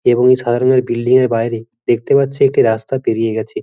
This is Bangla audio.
এবং এই সাদা রঙের বিল্ডিং -এর বাইরে দেখতে পাচ্ছি একটি রাস্তা বেরিয়ে গেছে।